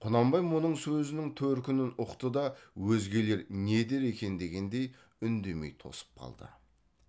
құнанбай мұның сөзінің төркінін ұқты да өзгелер не дер екен дегендей үндемей тосып қалды